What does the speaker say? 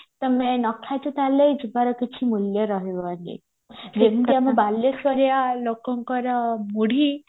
ତମେ ନଖାଇଛ ତାହେଲେ ଯିବାର କିଛି ମୂଲ୍ୟ ରହିବନି ଯେମତି ଆମ ବାଲେଶ୍ଵଋଆ ଲୋକଙ୍କର ମୁଢି